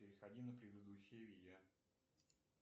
переходи на предыдущее видео